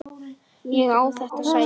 Ég á þetta sæti!